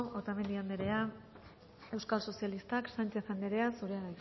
otamendi anderea euskal sozialistak sánchez anderea zurea